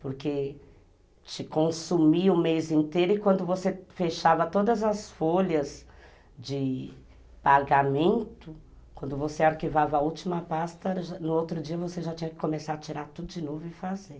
Porque te consumia o mês inteiro e quando você fechava todas as folhas de pagamento, quando você arquivava a última pasta, no outro dia você já tinha que começar a tirar tudo de novo e fazer.